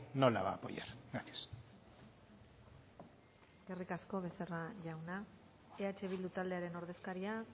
no la va a apoyar gracias eskerrik asko becerra jauna eh bildu taldearen ordezkaria